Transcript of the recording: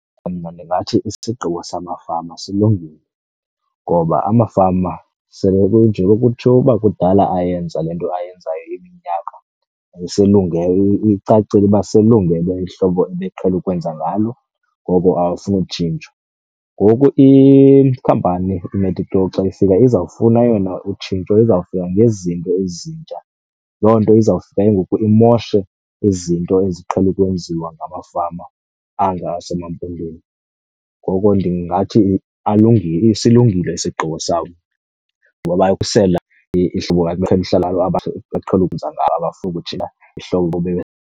Mna ndingathi isigqibo samafama silungile ngoba amafama sele kunje kwakutshiwo uba kudala ayenza le nto ayenzayo iminyaka, icacile uba selungele ihlobo ebeqhele ukwenza ngalo, ngoko abafuni tshintsho. Ngoku ikhampani iMedigrow xa ifika izawufuna yona utshintsho, izawufika ngezinto ezintsha. Loo nto izawufika ke ngoku imoshe izinto eziqhele ukwenziwa ngamafama anga asemaMpondweni. Ngoko ndingathi silungile isigqibo sabo ngoba bakhusela ihlobo abaqhele ukwenza ngalo, abafuni kujika ihlobo .